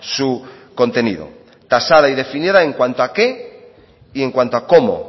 su contenido tasada y definida en cuanto a qué y en cuanto a cómo